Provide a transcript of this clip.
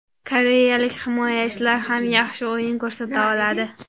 Koreyalik himoyachilar ham yaxshi o‘yin ko‘rsata oladi”.